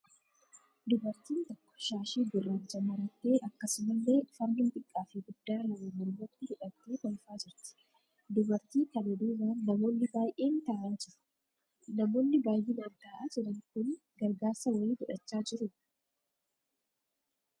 Dubartiin tokko shaashii gurraacha marattee akkasumallee fannoo xiqqaa fi guddaa lama mormatti hidhattee kolfaa jirti. Dubartii kana duubaan namoonni baayyeen ta'aa jiru. Namoonni baayyinaan ta'aa jiran kun gargaarsa wayii fudhachaa jiruu?